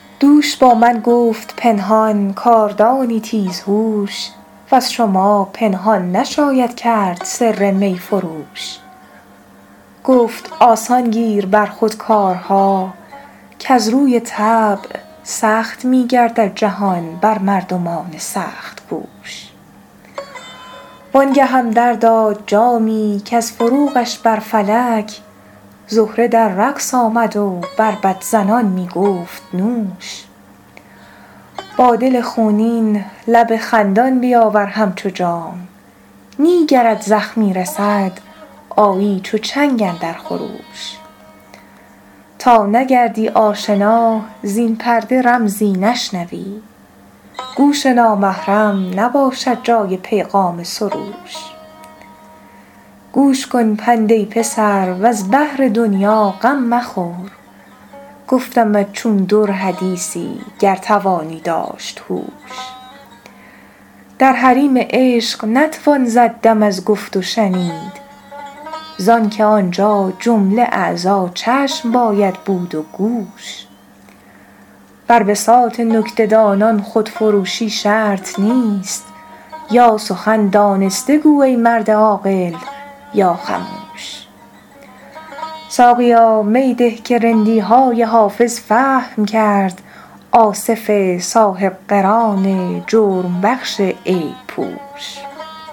دوش با من گفت پنهان کاردانی تیزهوش وز شما پنهان نشاید کرد سر می فروش گفت آسان گیر بر خود کارها کز روی طبع سخت می گردد جهان بر مردمان سخت کوش وان گهم در داد جامی کز فروغش بر فلک زهره در رقص آمد و بربط زنان می گفت نوش با دل خونین لب خندان بیاور همچو جام نی گرت زخمی رسد آیی چو چنگ اندر خروش تا نگردی آشنا زین پرده رمزی نشنوی گوش نامحرم نباشد جای پیغام سروش گوش کن پند ای پسر وز بهر دنیا غم مخور گفتمت چون در حدیثی گر توانی داشت هوش در حریم عشق نتوان زد دم از گفت و شنید زان که آنجا جمله اعضا چشم باید بود و گوش بر بساط نکته دانان خودفروشی شرط نیست یا سخن دانسته گو ای مرد عاقل یا خموش ساقیا می ده که رندی های حافظ فهم کرد آصف صاحب قران جرم بخش عیب پوش